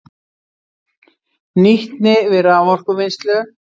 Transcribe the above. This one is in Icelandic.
Nýtni við raforkuvinnslu